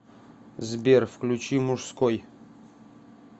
сбер включи мужской